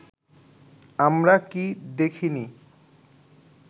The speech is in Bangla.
আমরা কি দেখিনি